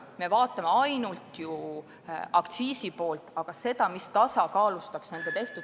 Me vaatame ainult aktsiiside poolt, aga meetmeid, mis tasakaalustaks nende ...